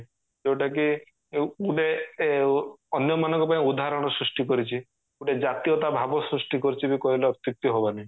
ଯୋଉଟା କି ଗୁଟେ ଅ ଅନ୍ୟ ମାନଙ୍କ ପାଇଁ ଉଦାହରଣ ସୃଷ୍ଟି କରିଛି ଗୋଟେ ଜାତୀୟତା ଭାବ ସୃଷ୍ଟି କରୁଚି ବି କହିଲେ ଅତ୍ଯୁକ୍ତି ହେବ ନାହିଁ